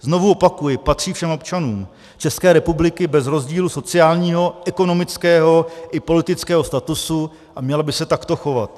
Znovu opakuji, patří všem občanům České republiky bez rozdílu sociálního, ekonomického i politického statusu a měla by se takto chovat.